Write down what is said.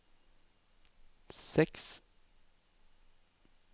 seks